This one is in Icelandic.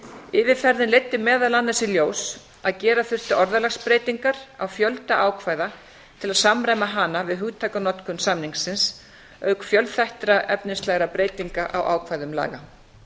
yfirferðin leiddi meðal annars í ljós að gera þurfti orðalagsbreytingar á fjölda ákvæða til að samræma hana við hugtakanotkun samningsins auk fjölþættra efnislegra breytinga á ákvæðum laga